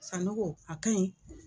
Sanogo a ka ɲi.